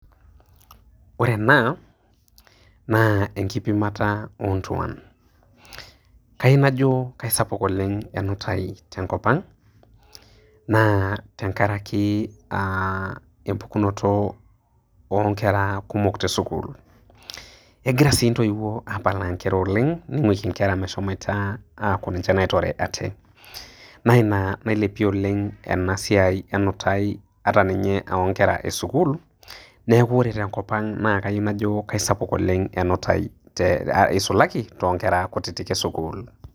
Ore ena, naa enkipimata ontuan. Kayieu najo kesapuk oleng enutai tenkop ang, naa tenkaraki empukunoto onkera kumok tesukuul. Egira si ntoiwuo apalaa nkera oleng',ning'uiki nkera meshomoita aaku ninche naitore ate. Na ina nailepie oleng' enasiai enutai ata ninye onkera esukuul, neeku ore tenkop ang na kau najo kesapuk oleng enutai isulalki tonkera kutitik tesukuul.